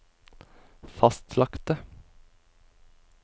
fastlagte